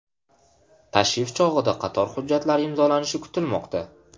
Tashrif chog‘ida qator hujjatlar imzolanishi kutilmoqda.